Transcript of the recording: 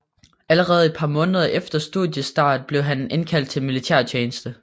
Allerede et par måneder efter studiestart blev han indkaldt til militærtjeneste